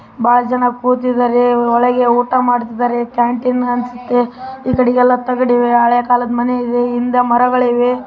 ಬಹಳ ಜನ ಕೂತಿದ್ದಾರೆ ಒಳಗೆ ಊಟ ಮಾಡುತ್ತಿದ್ದಾರೆ ಕ್ಯಾಂಟೀನ್ ಅನಿಸುತ್ತೆ. ಈ ಕಡೆ ಎಲ್ಲಾ ತಗಡು ಇದೆ ಇಲ್ಲಿ ಹಳೇ ಕಾಲದ ಮನೆಗಳಿವೆ ಹಿಂದೆ ಮರಗಳಿವೆ.